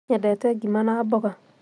Nyendete ngima na mboga